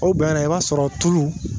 O bɛɛ yɛrɛ i b'a sɔrɔ tulu